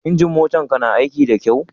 Injin motan ka na aiki da kyau?